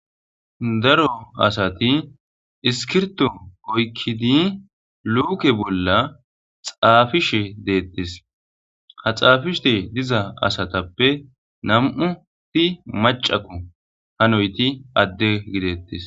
Daro asati iskirto oykkidi luuke bolla xaafishe deettes ha xaafishe diza asatappe nam'uti macako hanoyti adde gideettes.